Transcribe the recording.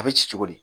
A bɛ ci cogo di